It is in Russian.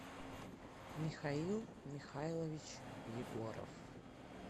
михаил михайлович егоров